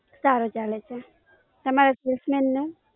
સારો ચાલે છે, તમારા Salesman?